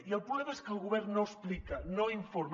i el problema és que el govern no explica no informa